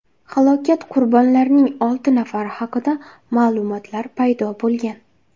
halokat qurbonlarining olti nafari haqida ma’lumotlar paydo bo‘lgan.